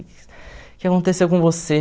O que aconteceu com você?